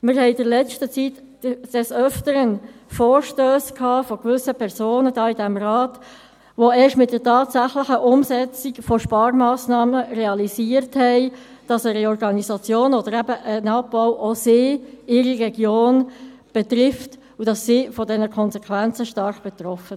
Wir haben in der letzten Zeit des Öfteren Vorstösse von gewissen Personen in diesem Rat behandelt, die erst bei der tatsächlichen Umsetzung von Sparmassnahmen realisiert haben, dass eine Reorganisation oder ein Abbau auch sie und ihre Region betrifft.